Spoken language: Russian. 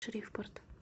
шривпорт